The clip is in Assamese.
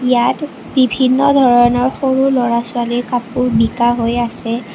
ইয়াত বিভিন্ন ধৰণৰ সৰু ল'ৰা ছোৱালীৰ কাপোৰ নিকা হৈ আছে।